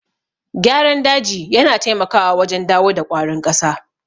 Gyaran daji yana taimakawa wajen dawo da ƙwarin ƙasa.